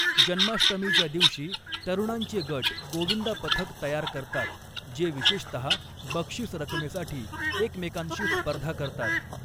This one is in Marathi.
जन्माष्टमीच्या दिवशी तरुणांचे गट गोविंदा पथक तयार करतात, जे विशेषतहा बक्षिस रकमेसाठी एकमेकांशी स्पर्धा करतात.